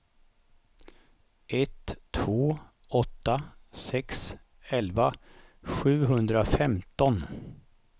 ett två åtta sex elva sjuhundrafemton